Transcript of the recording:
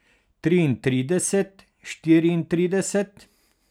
Triintrideset, štiriintrideset.